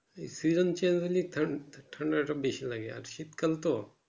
season change হলেই ঠা ঠান্ডাটা বেশি লাগে আর শীতকাল তো